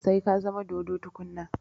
Sai ka zama dodo tukuna